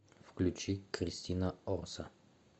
включи кристина орса